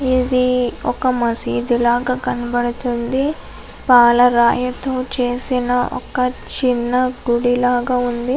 ఇది ఒక మస్జీద్ లాగా కనబడుతుంది పల రాయితో చేసిన ఒక చిన్న గుడి లాగా ఉంది.